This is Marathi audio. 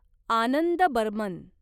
आनंद बर्मन